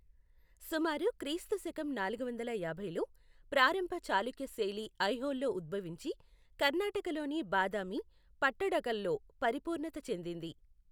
సుమారు క్రీస్తు శకం నాలుగు వందల యాభైలో, ప్రారంభ చాళుక్య శైలి ఐహోళ్లో ఉద్భవించి, కర్ణాటకలోని బాదామి, పట్టడకల్లో పరిపూర్ణత చెందింది.